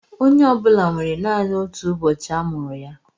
Onye ọ bụla nwere naanị ọtụ ụbọchị a mụrụ ya.